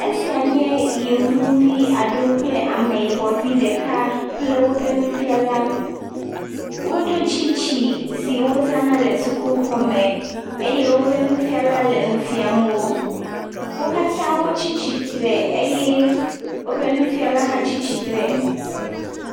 Esia nye yevuvi aɖewo kple ameyibɔ vi ɖeka kple woƒe nufiala. Woɖo tsitsi si wozana le sukuxɔme eye woƒe nufiala le nu fiam wo. Wo katã wotsi tsitre eye woƒe nufiala hã tsi tsitre.